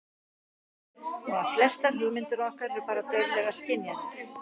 Og að flestar hugmyndir okkar eru bara dauflegar skynjanir.